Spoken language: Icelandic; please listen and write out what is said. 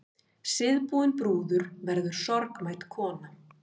Síðbúin brúður verður sorgmædd kona.